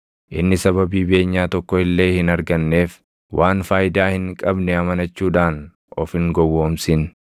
Inni sababii beenyaa tokko illee hin arganneef, waan faayidaa hin qabne amanachuudhaan of hin gowwoomsin.